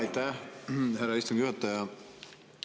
Aitäh, härra istungi juhataja!